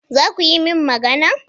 Za ku yi min magana?